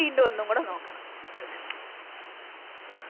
വീണ്ടും ഒന്നു കൂടെ നോക്കണം അങ്ങനെ